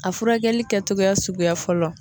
A furakɛli kɛtogoya suguya fɔlɔ